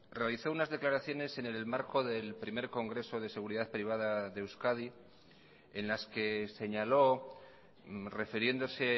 realizó unas declaraciones en el marco del primer congreso de seguridad privada de euskadi en las que señalo refiriéndose